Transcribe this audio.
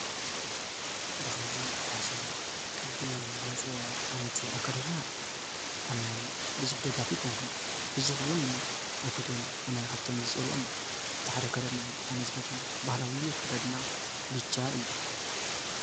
ብኸምዚ ብፋሽን ቅዲ ዝመፀ ዓይነት ኣከዳድና ኣነ ብዙሕ ደጋፊ ኣይኮንኩን ብዙሕ እውን ኣይፈትወን እየ። ኣነ ካብቶም ዝፀልኦም እቲ ሓደ ኣከዳድና እዩ ኣነ ዝፈትዎ ባህላዊ ኣከዳድና ብቻ እዩ።